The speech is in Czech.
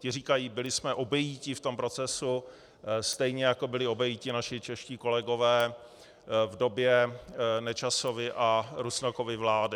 Ti říkají: Byli jsme obejiti v tom procesu, stejně jako byli obejiti naši čeští kolegové v době Nečasovy a Rusnokovy vlády.